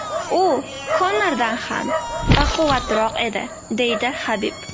U Konordan ham baquvvatroq edi”, deydi Habib.